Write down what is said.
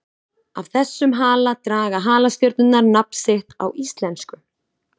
Af þessum hala draga halastjörnurnar nafn sitt á íslensku.